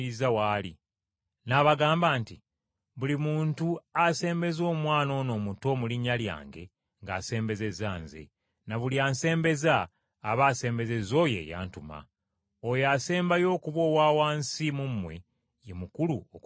N’abagamba nti, “Buli muntu asembeza omwana ono omuto mu linnya lyange ng’asembezezza Nze, na buli ansembeza aba asembezezza oyo eyantuma. Oyo asembayo okuba owa wansi mu mmwe, ye mukulu okubasinga.”